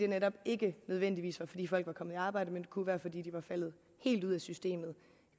netop ikke nødvendigvis fordi folk var kommet i arbejde men kunne være fordi de var faldet helt ud af systemet